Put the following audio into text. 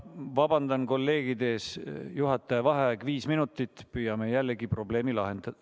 Vabandan kolleegide ees, juhataja vaheaeg viis minutit, püüame jällegi probleemi lahendada.